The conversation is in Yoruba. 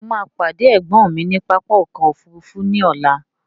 Ṣé mo máa pàdé ẹ̀gbọ́n mi ní pápá ọkọ̀ òfúrúúfú ní ọ̀la?